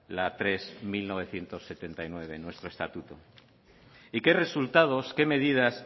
la tres barra mil novecientos setenta y nueve nuestro estatuto y qué resultados qué medidas